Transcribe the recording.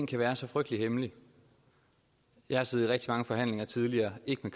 kan være så frygtelig hemmelig jeg har siddet i rigtig mange forhandlinger tidligere ikke